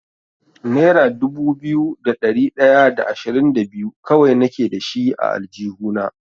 Nera dubu biyu da ɗari ɗaya da ashirin da biyu kawai nake dashi a aljihuna.